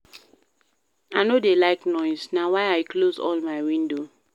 I no dey like noise, na why I close all my window.